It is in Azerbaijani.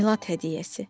Milad hədiyyəsi.